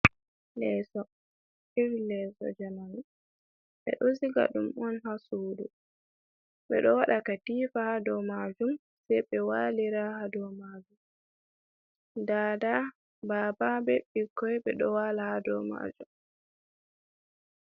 Lesso, irin lesso jamanu ɓeɗo siga ɗum on ha sudu ɓe ɗo wada katifa ha dou majum sei ɓe walira ha dou majum dada, baba, be bikkoi ɓe ɗo wala ha dou majum.